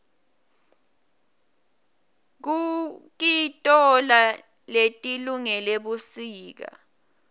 kukitoala letilungele busika